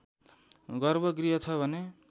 गर्भ गृह छ भने